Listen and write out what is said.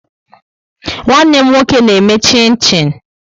Nwanne m nwoke na-eme chin-chin